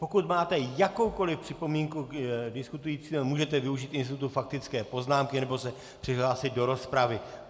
Pokud máte jakoukoli připomínku k diskutujícím, můžete využít institutu faktické poznámky nebo se přihlásit do rozpravy.